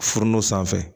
Furu no sanfɛ